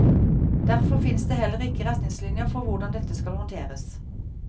Derfor fins det heller ikke retningslinjer for hvordan dette skal håndteres.